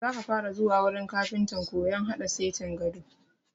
Za ka fara zuwa wurin kafintan koyan haɗa setin gado!